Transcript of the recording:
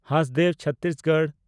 Hasdeo Chhattisgarh